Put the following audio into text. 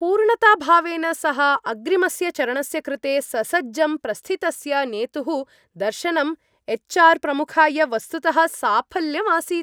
पूर्णताभावेन सह अग्रिमस्य चरणस्य कृते ससज्जं प्रस्थितस्य नेतुः दर्शनं एच्.आर्. प्रमुखाय वस्तुतः साफल्यम् आसीत्।